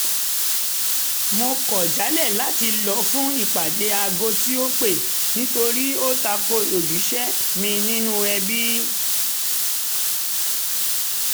mo kọ̀ jálẹ̀ láti lọ fún ìpàdé aago tí ó pẹ́ nítorí ó ta ko ojúṣe mi nínú ẹbí